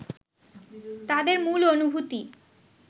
তাদের মূল অনুভূতি